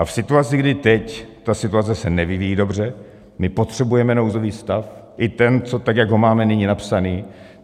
A v situaci, kdy teď ta situace se nevyvíjí dobře, my potřebujeme nouzový stav, i ten, tak jak ho máme nyní napsaný.